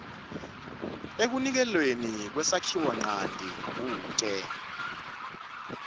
ekuniketelweni kwesakhiwonchanti kute